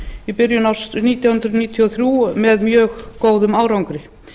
í byrjun árs nítján hundruð níutíu og þrjú með mjög góðum árangri